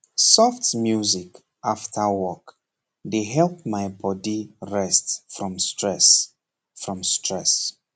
soft music after work dey help my body rest from stress from stress